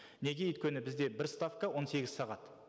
неге өйткені бізде бір ставка он сегіз сағат